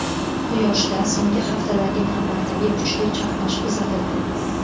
Quyoshda so‘nggi haftadagi navbatdagi kuchli chaqnash kuzatildi.